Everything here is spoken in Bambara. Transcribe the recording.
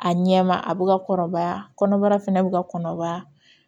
A ɲɛ ma a bɛ ka kɔrɔbaya kɔnɔbara fɛnɛ bɛ ka kɔnɔbara